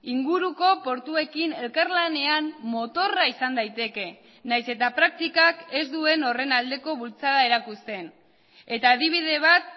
inguruko portuekin elkarlanean motorra izan daiteke nahiz eta praktikak ez duen horren aldeko bultzada erakusten eta adibide bat